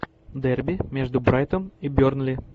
дерби между брайтон и бернли